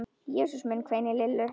Jesús minn hvein í Lillu.